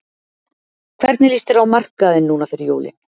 Hvernig lýst þér á markaðinn núna fyrir jólin?